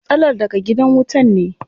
Matsalar daga gidan wutan ne.